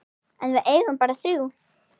En við eigum bara þrjú.